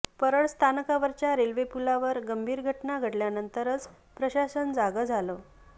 परळ स्थानकावरच्य़ा रेल्वे पुलावर गंभीर घटना घडल्यानंतरच प्रशासन जागं झालं